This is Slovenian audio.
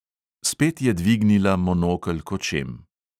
Spet je dvignila monokel k očem.